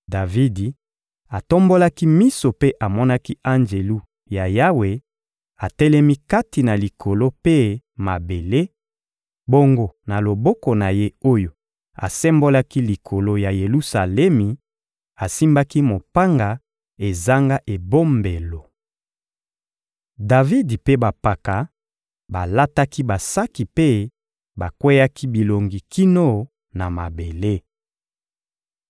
Davidi atombolaki miso mpe amonaki anjelu ya Yawe atelemi kati ya likolo mpe mabele, bongo na loboko na ye oyo asembolaki likolo ya Yelusalemi, asimbaki mopanga ezanga ebombelo. Davidi mpe bampaka balataki basaki mpe bakweyaki bilongi kino na mabele.